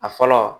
A fɔlɔ